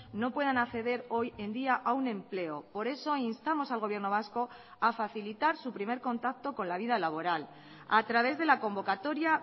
no puedan acceder hoy en día a un empleo por eso instamos al gobierno vasco a facilitar su primer contacto con la vida laboral a través de la convocatoria